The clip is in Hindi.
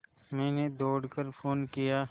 मैंने दौड़ कर फ़ोन किया